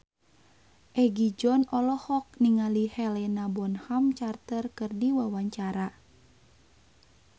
Egi John olohok ningali Helena Bonham Carter keur diwawancara